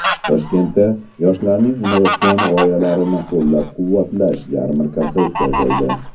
Toshkentda yoshlarning innovatsion g‘oyalarini qo‘llab-quvvatlash yarmarkasi o‘tkazildi .